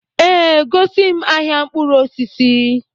Ee, gosi m ahịa mkpụrụ osisi